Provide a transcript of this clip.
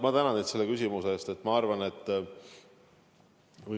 Ma tänan teid selle küsimuse eest!